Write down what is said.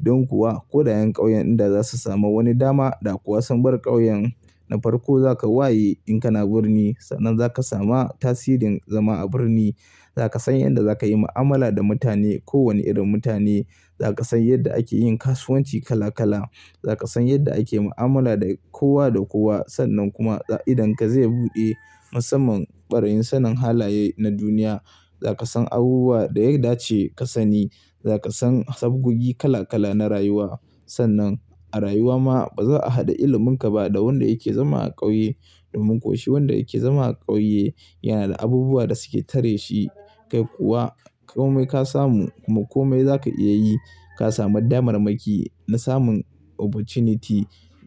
Don kuwa ko daƴan ƙauyen inda za su samu wani dama da kuwa sun bar ƙauyen na farko za ka waye in kana birni. Sannan za ka sama tasirin zama a birni. Za ka san yadda za ka yi mu'amala da mutane, ko wani irin mutane. Za ka san yadda ake yin kasuwanci kala kala. Za ka san yadda ake mu'amala da kowa da kowa. Sannan kuma idonka zai buɗe musamman ɓarayin sanin halaye na duniya. Za ka san abubuwa da ya dace ka sani. Za ka san sabgogi kala kala na rayuwa. Sannan a rayuwa ma ba za a hada iliminka ba da wanda yake zama a ƙauye. Domin ko shi wanda yake zama a ƙauye yana da abubuwa da suke tare shi. Kai kuwa komai ka samu kuma komai za ka iya yi. Ka samu damarmaki na samun opportunity